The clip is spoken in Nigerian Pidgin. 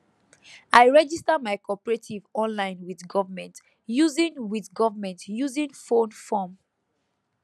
i register my cooperative online with government using with government using phone form